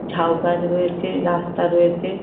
ঝাউ গাছ রয়েছে রাস্তা রয়েছে ।